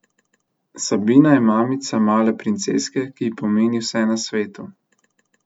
Sabina je mamica male princeske, ki ji pomeni vse na svetu.